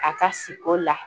A ka siko la